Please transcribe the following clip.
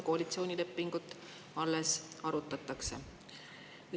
Koalitsioonilepingut või selle sisu alles arutatakse.